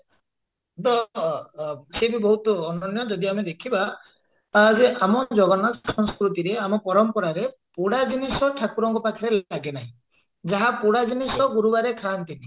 ଅ ସିଏ ବି ବହୁତ ଅନନ୍ୟ ଯଦି ଆମେ ଦେଖିବା ତାହେଲେ ଆମ ଜଗନ୍ନାଥ ସଂସୃତିରେ ଆମ ପରମ୍ପରାରେ ପୋଡା ଜିନିଷ ଠାକୁରଙ୍କ ପାଖରେ ଲାଗେ ନାହିଁ ଯାହା ପୋଡା ଜିନିଷ ଗୁରୁବାରେ ଖାଆନ୍ତିନି